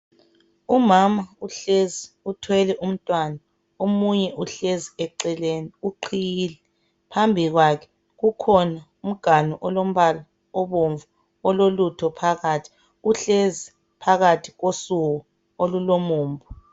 Umama uhlezi uthwele umntwana omunye uh lezi eceleni uqhiyile phambi kwakhe kukhona umganu olombala obomvu ololutho phakathi uhlezi phakathi kosuku olulomumbu.